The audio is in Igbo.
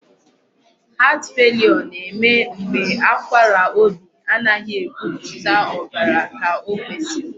Heart failure na-eme mgbe akwara obi anaghị ebupụta ọbara ka ọ kwesiri.